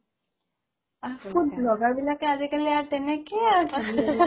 fast food লগা বিলাকে আজিকালি আৰ তেনেকে আৰ